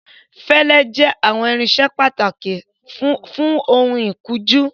Fẹlẹ jẹ awọn irinṣẹ pataki fun oun ikunju